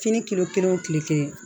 Fini kilo kelen o kile kelen